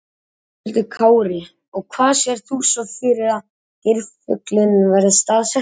Höskuldur Kári: Og hvar sérð þú svo fyrir þér að geirfuglinn verði staðsettur?